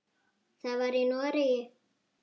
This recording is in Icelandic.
Það var í Noregi.